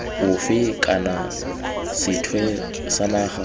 ofe kana sethwe sa naga